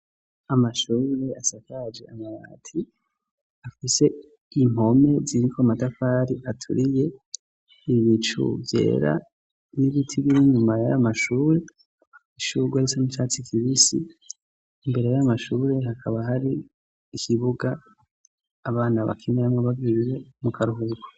Amashurure asakaje amabati afise impome ziriko amatafari aturiye. Ibicu vyera n'ibiti biri inyuma y'amashure. Ishurwe risa n'icatsi kibisi. Imbere y'amashure hakaba hari ikibuga abana bakinamo bagiye mu karuhuko.